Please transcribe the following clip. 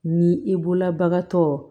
Ni i bolola bagan tɔ